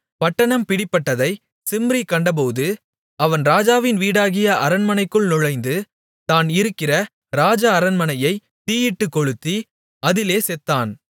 பட்டணம் பிடிபட்டதை சிம்ரி கண்டபோது அவன் ராஜாவின் வீடாகிய அரண்மனைக்குள் நுழைந்து தான் இருக்கிற ராஜ அரண்மனையைத் தீயிட்டுகொளுத்தி அதிலே செத்தான்